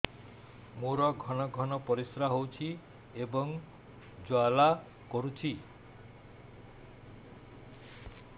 ମୋର ଘନ ଘନ ପରିଶ୍ରା ହେଉଛି ଏବଂ ଜ୍ୱାଳା କରୁଛି